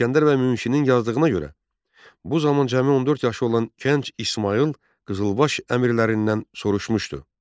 İsgəndər bəy Münşinin yazdığına görə bu zaman cəmi 14 yaşı olan gənc İsmayıl qızılbaş əmirlərindən soruşmuşdu: